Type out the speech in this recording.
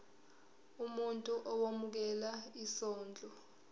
umuntu owemukela isondlo